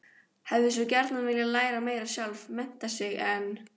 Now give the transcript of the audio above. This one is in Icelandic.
Hefði svo gjarnan viljað læra meira sjálf, mennta sig, en